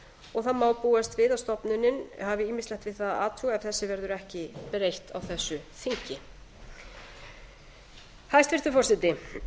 og það má búast við að stofnunin hafi ýmislegt við það að athuga ef þessu verður ekki breytt á þessu þingi hæstvirtur forseti